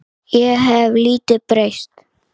Ég hef lítið breyst.